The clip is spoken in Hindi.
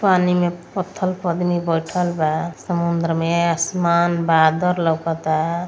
पानी में पत्थल पर आदमी बैठल बा समुद्र में। आसमान बादर लउकता।